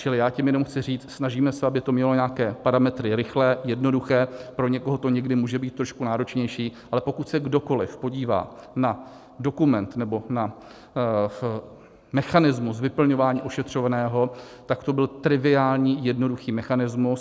Čili já tím jenom chci říct, snažíme se, aby to mělo nějaké parametry rychlé, jednoduché, pro někoho to někdy může být trošku náročnější, ale pokud se kdokoli podívá na dokument nebo na mechanismus vyplňování ošetřovného, tak to byl triviální jednoduchý mechanismus.